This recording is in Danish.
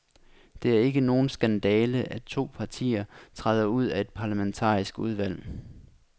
Det er ikke nogen skandale, at to partier træder ud af et parlamentarisk udvalg.